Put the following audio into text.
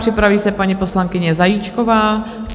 Připraví se paní poslankyně Zajíčková.